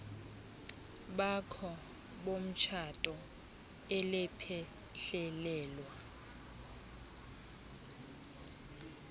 bakho bomtshato elaphehlelelwa